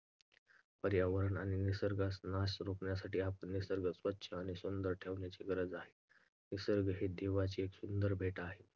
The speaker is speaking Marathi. पर्यावरण आणि निसर्गाचा नाश रोखण्यासाठी आपण निसर्ग स्वच्छ आणि सुंदर ठेवण्याची गरज आहे. निसर्ग ही देवाची. एक सुंदर भेट आहे.